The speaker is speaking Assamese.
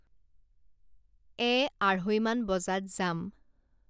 এ আঢ়ৈমান বজাত যাম